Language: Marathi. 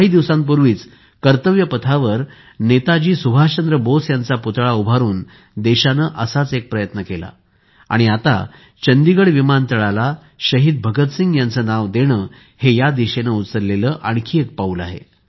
काही दिवसांपूर्वीच कर्तव्य पथावर नेताजी सुभाषचंद्र बोस यांचा पुतळा उभारून देशाने असाच एक प्रयत्न केला आहे आणि आता चंदीगड विमानतळाला शहीद भगतसिंग यांचे नाव देणे हे या दिशेने उचललेले आणखी एक पाऊल आहे